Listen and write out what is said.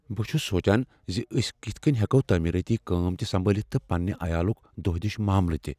بہٕ چھس سوچان ز أسۍ کتھ کٔنۍ ہیکو تعمیرٲتی کٲم تہ سنبالتھ تہٕ پنٛنہ عیالٕکۍ دۄہ دش معاملہ تہِ۔